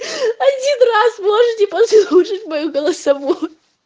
один раз можете послушать мою голосовую